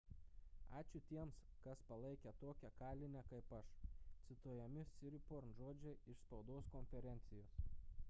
ačiū tiems kas palaikė tokią kalinę kaip aš – cituojami siriporn žodžiai iš spaudos konferencijos